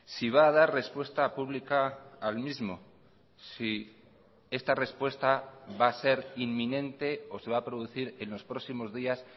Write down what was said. si va a dar respuesta pública al mismo si esta respuesta va a ser inminente o se va a producir en los próximos días